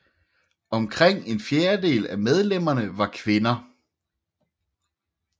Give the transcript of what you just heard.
Omkring en fjerdedel af medlemmerne var kvinder